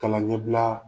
Kalan ɲɛbila